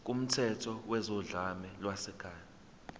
kumthetho wezodlame lwasekhaya